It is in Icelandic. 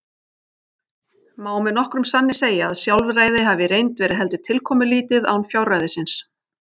Má með nokkrum sanni segja að sjálfræði hafi í reynd verið heldur tilkomulítið án fjárræðisins.